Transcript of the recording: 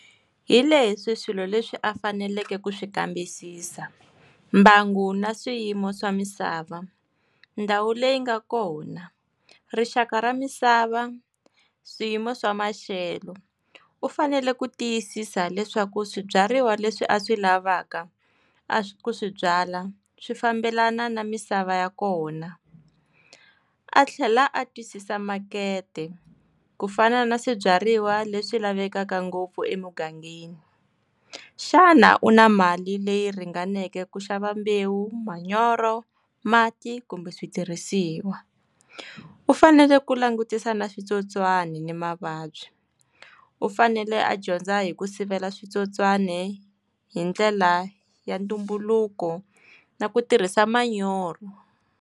Hi leswi swilo leswi a faneleke ku swi nkambisisa. Mbangu na swiyimo swa misava, ndhawu leyi nga kona, rixaka ra misava, swiyimo swa maxelo. U fanele ku tiyisisa leswaku swibyariwa leswi a swi lavaka, a ku swi byala, swi fambelana na misava ya kona. A tlhela a twisisa makete. Ku fana na swibyariwa leswi lavekaka ngopfu emugangeni. Xana u na mali leyi ringaneke ku xava mbewu, manyoro, mati, kumbe switirhisiwa? U fanele ku langutisa na switsotswani ni mavabyi. U fanele a dyondza hi ku sivela switsotswani, hi ndlela ya ntumbuluko na ku tirhisa manyoro.